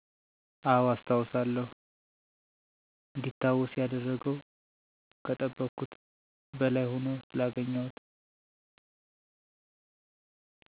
አወ አስታውሳለሁ እንዲታወስ ያደረገው ከጠበቅኩት በላይ ሁኖ ስላገኘሁት